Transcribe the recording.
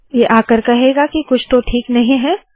ये आकर कहेगा के कुछ तो ठीक नहीं है